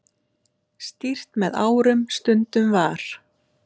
Stýrt með árum stundum var.